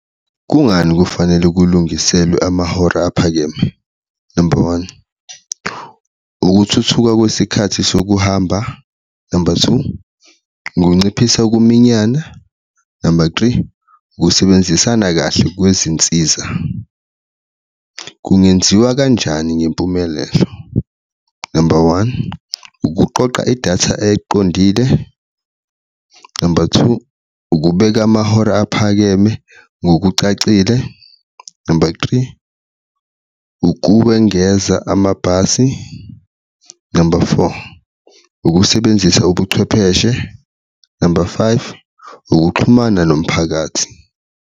Kungani kufanele kulungiselwe amahora aphakeme? Number one, ukuthuthuka kwesikhathi sokuhamba, number two, ukunciphisa ukuminyana, number three, ukusebenzisana kahle kwezinsiza. Kungenziwa kanjani ngempumelelo? Number one, ukuqoqa idatha eqondile, number two, ukubeka amahora aphakeme ngokucacile, number three, ukuwengeza amabhasi, number four, ukusebenzisa ubuchwepheshe, number five, ukuxhumana nomphakathi.